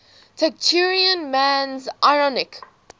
taciturn man's ironic